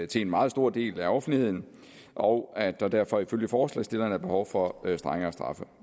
til en meget stor del af offentligheden og at der derfor ifølge forslagsstillerne er behov for strengere straffe